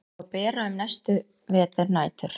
Á að bera um næstu veturnætur.